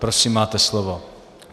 Prosím máte slovo.